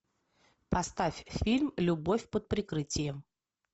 поставь фильм любовь под прикрытием